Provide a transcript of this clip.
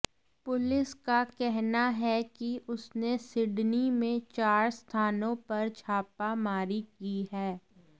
police का कहना है कि उसने सिडनी में चार स्थानों पर छापा मारी की है